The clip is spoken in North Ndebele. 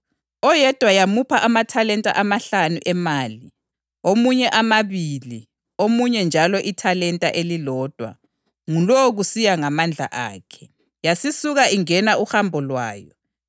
Oyedwa yamupha amathalenta amahlanu emali, omunye amabili omunye njalo ithalenta elilodwa, ngulowo kusiya ngamandla akhe. Yasisuka ingena uhambo lwayo.